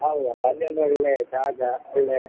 ಹೌದಪ್ಪ ಅಲ್ಲಿ ಒಂದು ಒಳ್ಳೆ ಜಾಗ ಒಳ್ಳೆ.